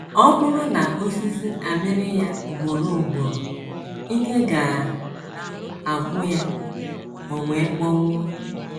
Ọ bụrụ na osisi amịrị ya ugboro ugboro, ike ga - agwụ ya o wee kpọnwụọ.